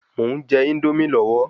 Mò ún je Índómì lọ́wọ́